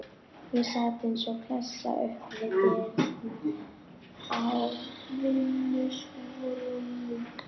Ég sat eins og klessa upp við dyrnar á vinnuskúrnum.